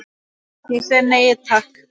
Ég segi nei, takk.